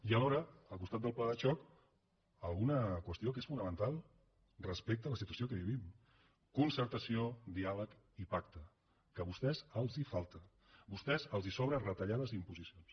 i alhora al costat del pla de xoc alguna qüestió que és fonamental respecte a la situació que vivim concertació diàleg i pacte que a vostès els falta a vostès els sobren retallades i imposicions